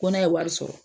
Ko ne ye wari sɔrɔ